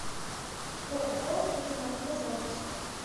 ооо ремавто запись